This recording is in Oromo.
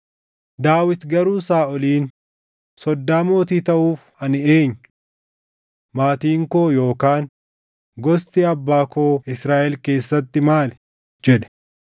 Daawit garuu Saaʼoliin, “Soddaa mootii taʼuuf ani eenyu? Maatiin koo yookaan gosti abbaa koo Israaʼel keessatti maali?” jedhe.